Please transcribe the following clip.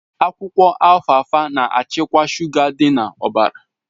Akwụkwọ Alfalfa na-achịkwa shuga dị na ọbara